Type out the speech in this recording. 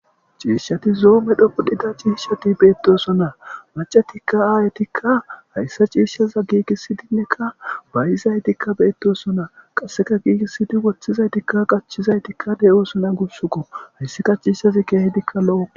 ciishshati zoo medho pudhida ciishshati beettosona macetikka aayetikka hayssa ciishshaza giigisidinnekka bayizaytikka beettosona qasseka giigissidi woththizaytikka qachizaytikka le7oosona gussuko hayssiqa ciishshazi keehidikka lo7o